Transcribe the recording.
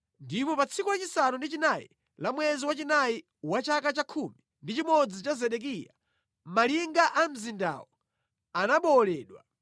Ndipo pa tsiku lachisanu ndi chinayi la mwezi wachinayi wa chaka cha khumi ndi chimodzi cha Zedekiya, malinga a mzindawo anabowoledwa.